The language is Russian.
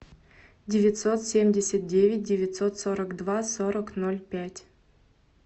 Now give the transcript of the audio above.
девятьсот семьдесят девять девятьсот сорок два сорок ноль пять